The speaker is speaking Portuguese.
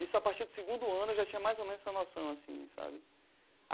Isso a partir do segundo ano eu já tinha mais ou menos essa noção assim, sabe?